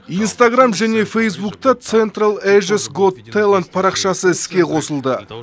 инстаграмм және фейзбукта централ эжес гот тэйлант парақшасы іске қосылды